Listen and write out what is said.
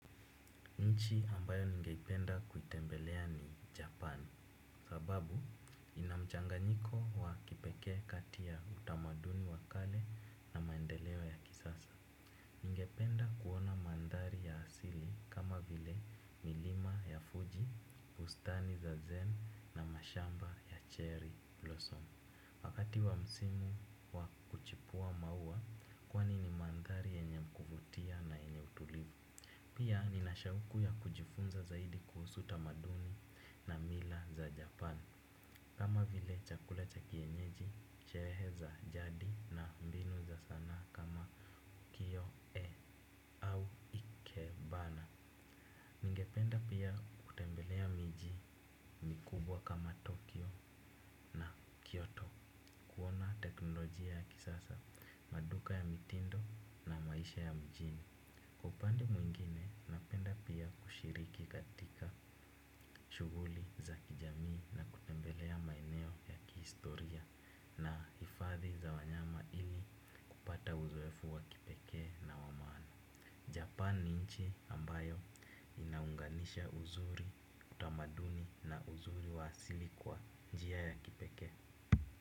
Nchi ambayo ningeipenda kuitembelea ni Japan, sababu ina mchanganyiko wa kipekee kati ya utamaduni wa kale na maendeleo ya kisasa. Ningependa kuona mandhari ya asili kama vile milima ya Fuji, ustani za Zen na mashamba ya Cherry Blossom. Wakati wa msimu wa kuchipua maua kwani ni mandhari yenye kuvutia na yenye utulivu. Pia nina shauku ya kujifunza zaidi kuhusu tamaduni na mila za japan. Kama vile chakula cha kienyeji, sherehe za jadi na mbinu za sanaa kama kio e au ikebana. Ningependa pia kutembelea miji mikubwa kama tokyo na kyoto. Kuona teknolojia ya kisasa, maduka ya mitindo na maisha ya mjini. Kwa upande mwingine, napenda pia kushiriki katika shughuli za kijamii na kutembelea maeneo ya kihistoria na hifadhi za wanyama ili kupata uzoefu wa kipekee na wa maana. Japan ni nchi ambayo inaunganisha uzuri utamaduni na uzuri wa asili kwa njia ya kipekee.